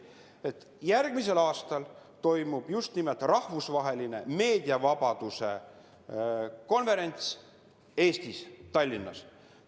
Nimelt, järgmisel aastal toimub rahvusvaheline meediavabaduse konverents Eestis, Tallinnas.